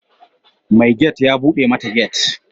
Mai gate ya bude mata gate.